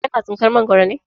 Ka na tsinkar Mangwaro ne?